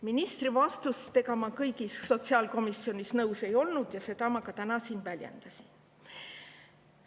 Ministri vastustega sotsiaalkomisjonis ma kõigis nõus ei olnud ja seda ma ka täna siin väljendasin.